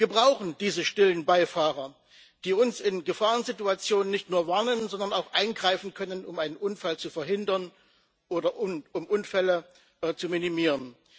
Wir brauchen diese stillen Beifahrer, die uns in Gefahrensituationen nicht nur warnen, sondern auch eingreifen können, um einen Unfall zu verhindern oder um Unfälle zu minimieren.